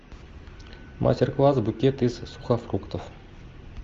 мастер класс букет из сухофруктов